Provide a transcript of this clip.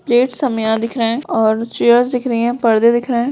Plates हमें यहां दिख रहा है और चेयर्स दिख रही हैं और परदे दिख रहैं हैं ।